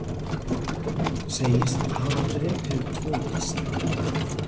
Segist hafa drepið tvo gísla